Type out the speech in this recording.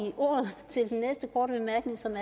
som